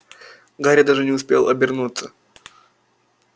гарри даже не успел обернуться